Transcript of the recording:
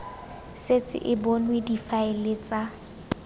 setse e bonwe difaele tsa